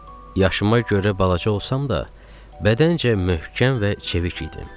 Yaşıma görə balaca olsam da, bədəncə möhkəm və çevik idim.